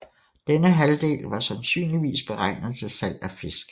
Denne halvdel var sandsynligvis beregnet til salg af fisk